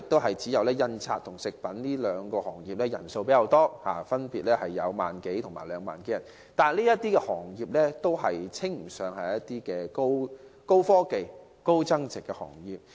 現時只有從事印刷和食品製造兩個行業的人數較多，分別有1萬多人和2萬多人，但這些行業均稱不上是高端科技及高增值的行業。